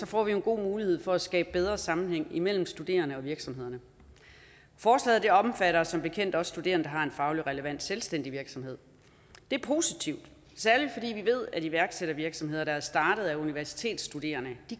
får vi en god mulighed for at skabe bedre sammenhæng mellem studerende og virksomheder forslaget omfatter som bekendt også studerende der har en faglig relevant selvstændig virksomhed det er positivt særlig fordi vi ved at iværksættervirksomheder der er startet af universitetsstuderende